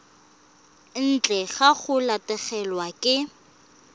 ntle ga go latlhegelwa ke